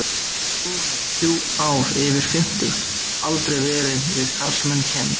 Solla hafði þrjú ár yfir fimmtugt og aldrei verið við karlmann kennd.